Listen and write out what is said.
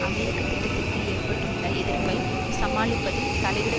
அமெரிக்க திட்டத்திற்கு ஏற்பட்டுள்ள எதிர்ப்பை சமாளிப்பதில் தலையிட